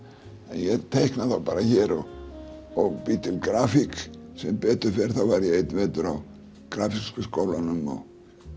en ég teikna þá bara hér og bý til grafík sem betur fer þá var ég einn vetur á grafíska skólanum og